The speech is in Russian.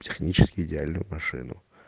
технически идеальную машину